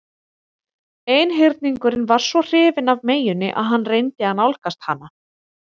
Einhyrningurinn var svo hrifinn af meyjunni að hann reyndi að nálgast hana.